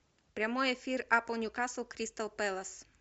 прямой эфир апл ньюкасл кристал пэлас